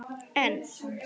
En svona vildi sagan vera